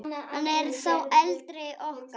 Hann er sá eldri okkar.